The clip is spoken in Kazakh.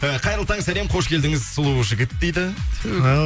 і қайырлы таң сәлем қош келдіңіз сұлу жігіт дейді ту